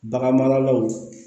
Bagan maralaw